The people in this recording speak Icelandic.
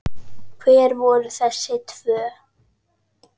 Hver voru þessi tvö?